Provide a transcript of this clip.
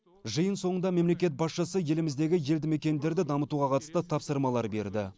жиын соңында мемлекет басшысы еліміздегі елді мекендерді дамытуға қатысты тапсырмалар берді